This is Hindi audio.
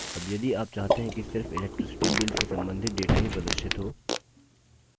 अब यदि आप चाहते हैं कि सिर्फ electricity bill से संबंधित data ही प्रदर्शित हो